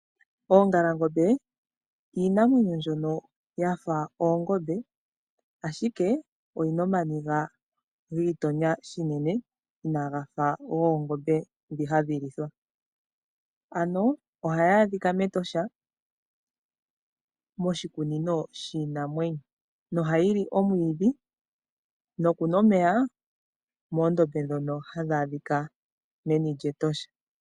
Oongalangombe iinamwenyo mbyono yafa oongombe, ashike oyina ooniga dhi igonya unene, inaga faathana nogoongombe dhoka hadhi lithwa. Ano ohayi adhika mEtosha, moshikunino shiinamwenyo. Ohayi li omwiidhi, nokunwa omeya moondombe dhono hadhi adhika meni lyEtosha.